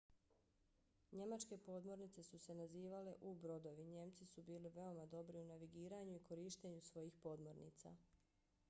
njemačke podmornice su se nazivale u-brodovi. njemci su bili veoma dobri u navigiranju i korištenju svojih podmornica